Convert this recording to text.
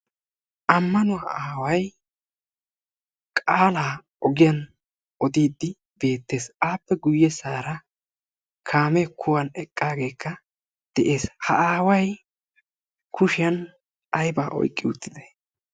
Ammanuwaa aaway qaalaa ogiyaan odiidi bettees. appe guyyesara kaamee kuwan eqqageekka de"ees. ha aaway kushsiyaan aybaa oyqqi uttidee?